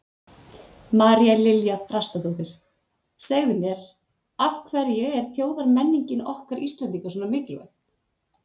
María Lilja Þrastardóttir: Segðu mér, af hverju er þjóðmenningin okkar Íslendinga svona mikilvæg?